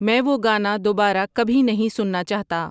میں وہ گانا دوبارہ کبھی نہیں سننا چاہتا